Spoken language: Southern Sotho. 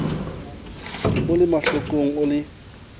o ie mahlokong o ie